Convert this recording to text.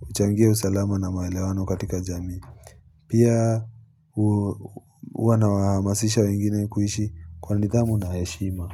huchangia usalama na maelewano katika jamii. Pia huwa nawamasisha wengine kuishi kwa nidhamu na heshima.